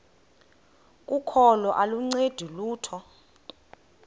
kokholo aluncedi lutho